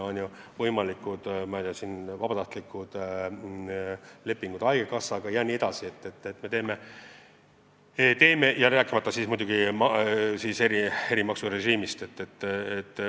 Pluss võimalikud vabatahtlikud lepingud haigekassaga, rääkimata muidugi eri-maksurežiimist.